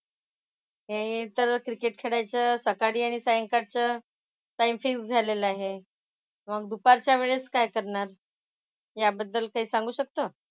हे तर क्रिकेट खेळायचं सकाळी आणि सायंकाळचं काय फिक्स झालेलं आहे. मग दुपारच्या वेळेत काय करणार? याबद्दल काही सांगू शकतो?